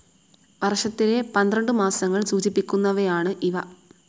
വർഷത്തിലെ പന്ത്രണ്ടു മാസങ്ങൾ സൂചിപ്പിക്കുന്നവയാണ് ഇവ.